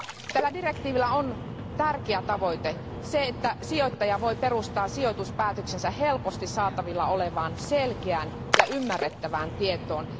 Tällä direktiivillä on tärkeä tavoite se, että sijoittaja voi perustaa sijoituspäätöksensä helposti saatavilla olevaan selkeään ja ymmärrettävään tietoon.